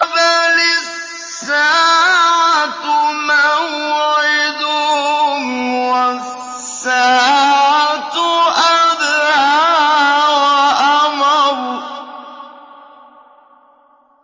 بَلِ السَّاعَةُ مَوْعِدُهُمْ وَالسَّاعَةُ أَدْهَىٰ وَأَمَرُّ